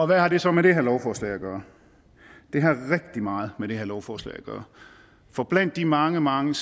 hvad har det så med det her lovforslag at gøre det har rigtig meget med det her lovforslag at gøre for blandt de mange mange